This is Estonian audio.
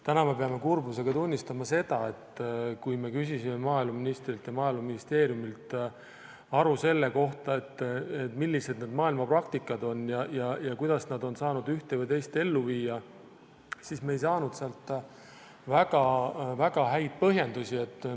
Täna me peame kurbusega tunnistama seda, et kui me küsisime maaeluministrilt ja Maaeluministeeriumilt aru selle kohta, milline on maailma praktika ja kuidas on saadud ühte või teist asja ellu viia, siis me ei saanud sealt väga häid põhjendusi.